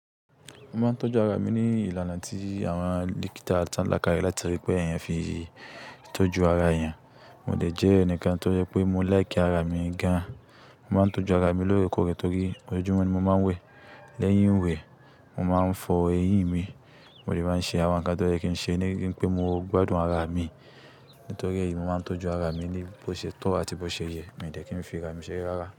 Mo máa ń tọ́jú ara mi ní ìlànà tí àwọn dókítà tán lákàyẹ́, látari pé ẹ̀yàn fi ń tọ́jú ara èèyàn. Mo dè jẹ́ ẹnìkan tó jẹ pé mo like ara mi gan. Mo máa ń tọ́jú ara mi lóorekoóre torí ojojumo ni mo máa ń wẹ̀. Lẹ́yìn ìwẹ̀, mo máa ń fọ eyín mi. Mo dè máa ń ṣe àwọn nǹkan tó yẹ́ kí n ṣe ní wi pé mo gbádùn ara mi. Nítorí èyí, mo máa ń tọ́jú ara mi ní bó ṣé tọ́ àti bó ṣé yẹ. Mi dẹ̀ kí n fi ara mi ṣe rárá.